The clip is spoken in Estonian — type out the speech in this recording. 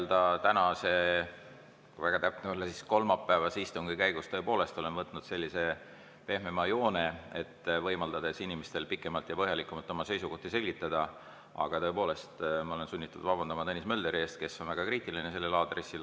Jah, tänase, või kui väga täpne olla, siis kolmapäevase istungi käigus ma tõepoolest olen võtnud sellise pehmema joone, võimaldades inimestel pikemalt ja põhjalikumalt oma seisukohti selgitada, aga ma olen sunnitud vabandama Tõnis Mölderi ees, kes on selles suhtes väga kriitiline.